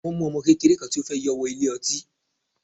Wọ́n mu ọmọ kékeré kan tí ó fẹ́ yọ wọ ilé ọtí.